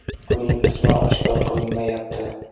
Uning ismi oshkor qilinmayapti.